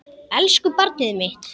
Elsku barnið mitt.